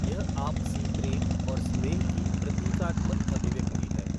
यह आपसी प्रेम और स्नेह की प्रतीकात्मक अभिव्यक्ति है।